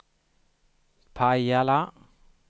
Pajala